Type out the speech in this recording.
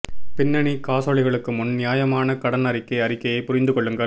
பின்னணி காசோலைகளுக்கு முன் நியாயமான கடன் அறிக்கை அறிக்கையை புரிந்து கொள்ளுங்கள்